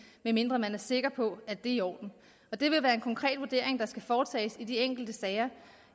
medmindre man er sikker på at det er i orden det vil være en konkret vurdering der skal foretages i de enkelte sager